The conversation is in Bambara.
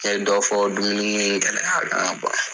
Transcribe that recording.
Kɛ dɔ fɔ dumuni gɛlɛya la an ka bɔ yan.